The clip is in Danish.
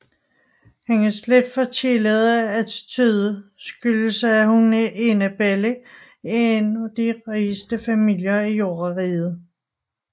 Hendes lidt forkælede attitude skyldes at hun er enebarn i en af de rigeste familier i Jordriget